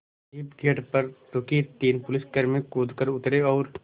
jeep gate पर रुकी तीन पुलिसकर्मी कूद कर उतरे और